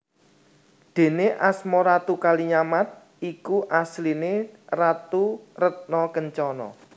Déné asma Ratu Kalinyamat iku asliné Ratu Retna Kencana